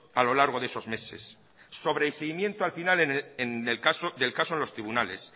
a lo largo de esos meses sobre el seguimiento al final del caso en los tribunales